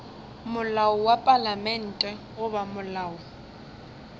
molao wa palamente goba molao